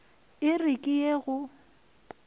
e re ke ye go